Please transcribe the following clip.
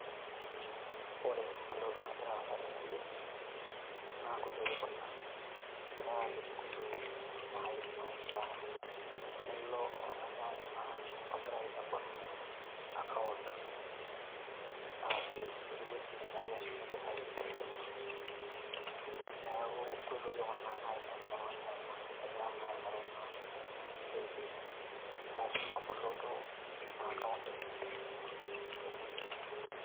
Ore entoki nagira aasa tene wueji naa, enkoitoi Kuna egarae aalimu enkoitoi naishaa Nilo naii oltung'ani aimaa ogira ayieu nebol akaont ashu ewuji neshumie naii impisai tebenki. Neeku enkoitoi Kuna naidim naii oltung'ani aimaa egira aing'oru Ina usaidisi aashu Ina boloto eina akaont enye tebenki.